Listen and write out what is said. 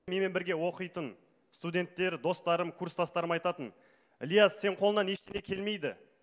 менімен бірге оқитын студенттер достарым курстастарым айтатын ильяс сенің қолыңнан ештеңе келмейді